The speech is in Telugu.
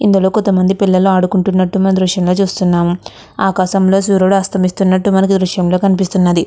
ఇందులో కొంత మంది పిల్లలు అడుకుంటున్నట్టు మనం దృశ్యంలో చుస్తునము. ఆకాశంలో సుర్యుడు అస్తమిస్తునట్టు మనకి ఈ దృశ్యంలో కనిపిస్తున్నది.